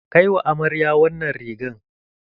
Kai wa amarya wannan rigar!